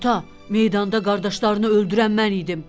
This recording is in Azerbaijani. meydanda qardaşlarını öldürən mən idim.